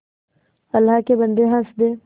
अल्लाह के बन्दे हंस दे